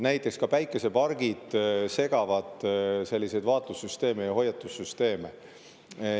Näiteks ka päikesepargid segavad selliseid vaatlussüsteeme ja hoiatussüsteeme.